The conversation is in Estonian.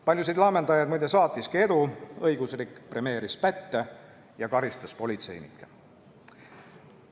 Paljusid laamendajaid saatiski edu, õigusriik premeeris pätte ja karistas politseinikke.